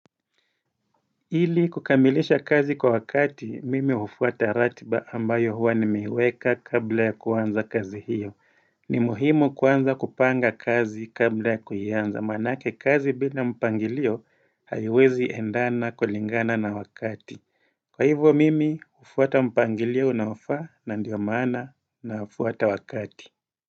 Ili kukamilisha kazi kwa wakati, mimi hufuata ratiba ambayo huwa nimeiweka kabla ya kuanza kazi hiyo. Ni muhimu kuanza kupanga kazi kabla ya kuianza, maanake kazi bila mpangilio haiwezi endana kulingana na wakati. Kwa hivyo mimi, hufuata mpangilio unaofaa na ndio maana nafuata wakati.